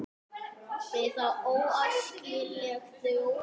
Er það óæskileg þróun?